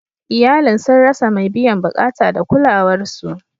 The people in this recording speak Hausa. Iyalin sun rasa mai biyan bukata da kulawar su.